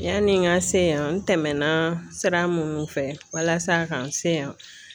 Yani n ka se yan, n tɛmɛna sira mun fɛ walasa ka n se yan